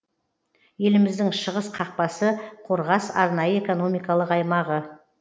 еліміздің шығыс қақпасы қорғас арнайы экономикалық аймағы